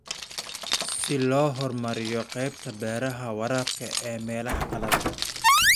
Si loo horumariyo qaybta beeraha waraabka ee meelaha qalalan.